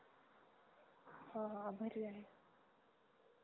ह ह आभारी आहे